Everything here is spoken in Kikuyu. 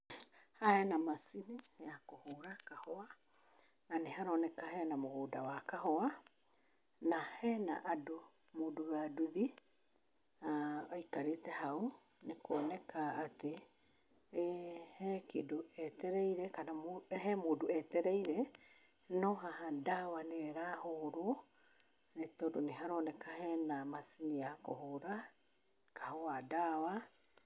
Haha hena macini ya kũhũra kahũa na nĩ haroneka hena mũgũnda wa kahũa na hena andũ, mũndũ wa nduthi na aikarĩte hau nĩ kuoneka atĩ ee he kĩndũ etereire kana he mũndũ etereire, no haha ndawa nĩyo ĩrahũrwo nĩ tondũ nĩ haroneka hena macini ya kũhũra kahũa ndawa.